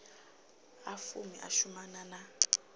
a fumi u shumana na